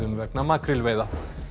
vegna makrílveiða